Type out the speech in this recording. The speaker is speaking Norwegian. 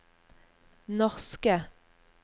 norske